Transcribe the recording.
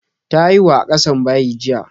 Ta haihu a ƙasan bayi jiya.